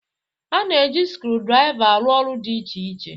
A na-eji skrudraịva arụ ọrụ dị iche iche.